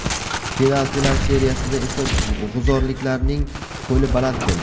Penaltilar seriyasida esa g‘uzorliklarning qo‘li baland keldi.